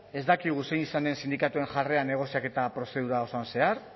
ez dakigu zein izan den sindikatuen jarrera negoziaketa prozedura osoan zehar